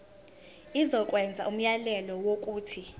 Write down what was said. izokwenza umyalelo wokuthi